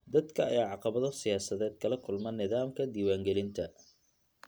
Dadka ayaa caqabado siyaasadeed kala kulma nidaamka diiwaangelinta.